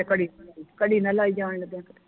ਘੜੀ ਘੜੀ ਨਾ ਲਾਈ ਜਾਨ ਲੱਗਿਆ ਕੀਤੇ